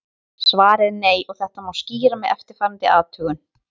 Svarið er nei og þetta má skýra með eftirfarandi athugun.